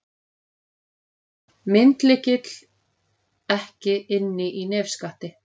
Myndlykill ekki inni í nefskatti